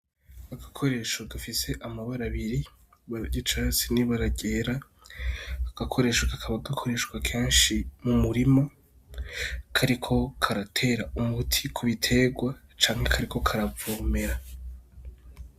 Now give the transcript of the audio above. Agakoresho gafise amabara abiri ry'icatsi n'ibara ryera, ako gakoresho kakaba gakoreshwa kenshi m'umurima kariko karatera umuti ku biterwa canke kariko karavomera.